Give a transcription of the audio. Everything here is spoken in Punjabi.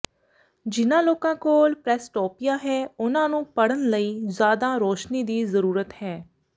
ਜਿਨ੍ਹਾਂ ਲੋਕਾਂ ਕੋਲ ਪ੍ਰੈਸਟੋਪੀਆ ਹੈ ਉਨ੍ਹਾਂ ਨੂੰ ਪੜ੍ਹਨ ਲਈ ਜ਼ਿਆਦਾ ਰੋਸ਼ਨੀ ਦੀ ਜ਼ਰੂਰਤ ਹੈ